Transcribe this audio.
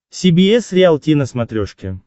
си би эс риалти на смотрешке